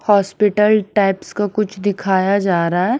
Hospital type का कुछ दिखया जा रहा है ।